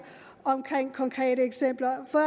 om konkrete eksempler for